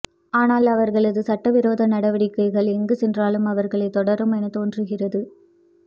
ஆனால் அவர்களது சட்டவிரோத நடவடிக்கைகள் எங்கு சென்றாலும் அவர்களைத் தொடரும் எனத் தோன்றுகிறது